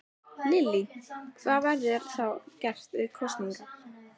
Lillý: Það verður þá gert fyrir kosningar?